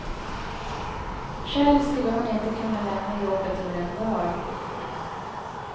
Själv skulle hon inte kunna lämna jobbet över en dag.